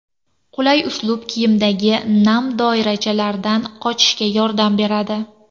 Qulay uslub kiyimdagi nam doirachalardan qochishga yordam beradi.